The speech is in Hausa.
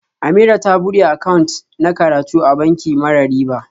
Ameerah ta bude account na karatu a banki mara riba